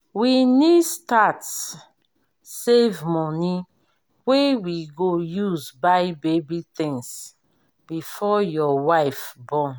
we need start save money wey we go use buy baby things before your wife born